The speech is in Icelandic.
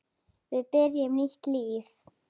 Við byrjum nýtt líf.